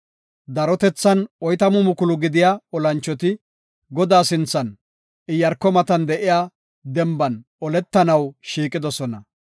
Darotethan oytamu mukulu gidiya olanchoti, Godaa sinthan, Iyaarko matan de7iya denban oletanaw shiiqidosona.